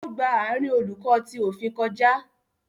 O gbà àárín Oluko tí òfin kọjá